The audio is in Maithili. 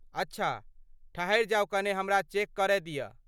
अच्छा, ठहरि जाउ कने हमरा चेक करय दिअ।